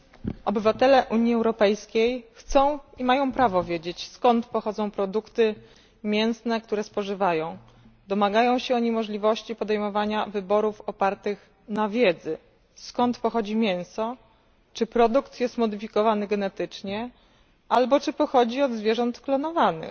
Panie Przewodniczący! Obywatele Unii Europejskiej chcą i mają prawo wiedzieć, skąd pochodzą produkty mięsne, które spożywają. Domagają się oni możliwości podejmowania wyborów opartych na wiedzy, skąd pochodzi mięso, czy produkt jest modyfikowany genetycznie albo czy pochodzi od zwierząt sklonowanych.